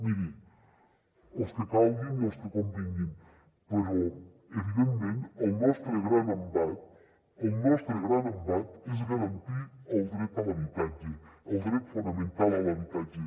miri els que calguin i els que convinguin però evidentment el nostre gran embat el nostre gran embat és garantir el dret a l’habitatge el dret fonamental a l’habitatge